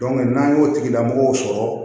n'an y'o tigilamɔgɔw sɔrɔ